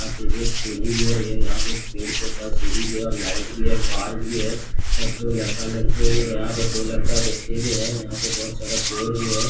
यहां पे एक सीढ़ी भी है ये यहां पे एक पेड़ के पास सीढ़ी भी है और लाइट भी है पार्क भी है और दो लड़का लड़की है और यहां पे दो लड़का बैठे हुए है यहां पे बहुत सारा पेड़ भी है।